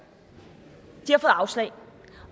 de afslag